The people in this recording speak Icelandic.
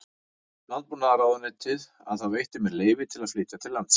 Landbúnaðarráðuneytið að það veitti mér leyfi til að flytja til landsins